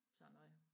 Sådan noget